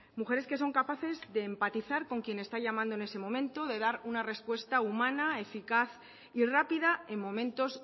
mujeres que son capaces de empatizar con quien está llamando en ese momento de dar una respuesta humana eficaz y rápida en momentos